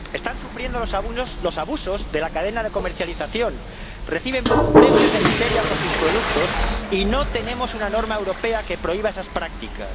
Están sufriendo los abusos de la cadena de comercialización, reciben precios de miseria por sus productos y no tenemos una norma europea que prohíba esas prácticas.